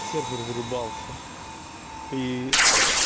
сервер вырубался и